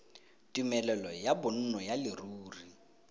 tumelelo ya bonno ya leruri